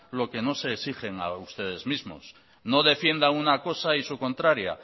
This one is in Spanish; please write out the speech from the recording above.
lo que no se exigen a ustedes mismos no defienda una cosa y su contraria